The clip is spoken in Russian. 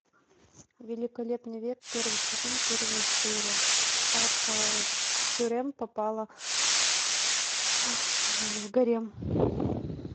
великолепный век первый сезон первая серия как хюррем попала в гарем